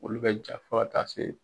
Olu bɛ ja fɔ ka taa se.